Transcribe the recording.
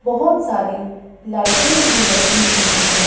बहुत सारी लाइटें भी लगी हुई हैं।